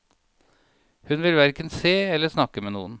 Hun vil hverken se eller snakke med noen.